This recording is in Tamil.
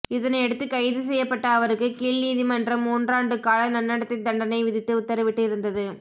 இதனையடுத்து கைது செய்யப்பட்ட அவருக்கு கீழ்நீதிமன்றம் மூன்றாண்டுகால நன்னடத்தை தண்டனை விதித்து உத்தரவிட்டு இருந்தது